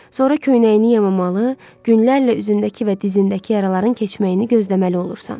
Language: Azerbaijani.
Sonra köynəyini yamamalı, günlərlə üzündəki və dizindəki yaraların keçməyini gözləməli olursan.